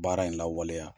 Baara in lawaleya